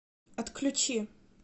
отключи